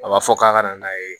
A b'a fɔ k'a ka na n'a ye